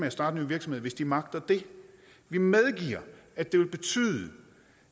at starte nye virksomheder hvis de magter det vi medgiver at det vil betyde